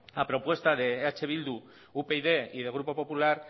a propuesta de eh bildu upyd y del grupo popular